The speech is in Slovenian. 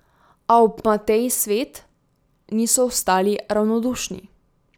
A ob Mateji Svet niso ostali ravnodušni.